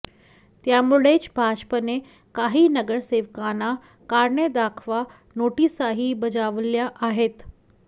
त्यामुळेच भाजपने काही नगरसेवकांना कारणे दाखवा नोटीसाही बजावल्या आहेत